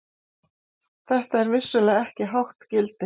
Þetta er vissulega ekki hátt gildi.